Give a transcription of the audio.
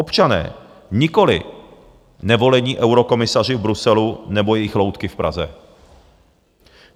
Občané, nikoliv nevolení eurokomisaři v Bruselu nebo jejich loutky v Praze.